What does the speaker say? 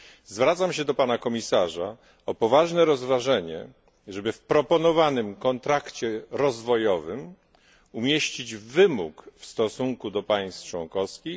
Zwracam się do Pana Komisarza o poważne rozważenie, czy w proponowanym kontrakcie rozwojowym umieścić wymóg w stosunku do państw członkowskich.